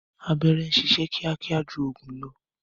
Abẹ́rẹ́ ń sisẹ́ kíákíá ju ọ̀gùn lọ